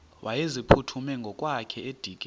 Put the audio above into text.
wayeziphuthume ngokwakhe edikeni